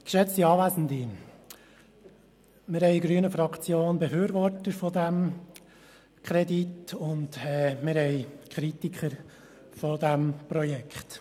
In der grünen Fraktion haben wir Befürworter dieses Kredits und Kritiker dieses Projekts.